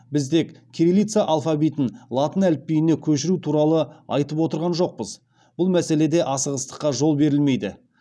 біз тек кириллица алфавитін латын әліпбиіне көшіру туралы айтып отырған жоқпыз бұл мәселеде асығыстыққа жол берілмейді